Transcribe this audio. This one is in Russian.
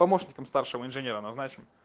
помощником старшего инженера назначим